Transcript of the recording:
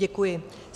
Děkuji.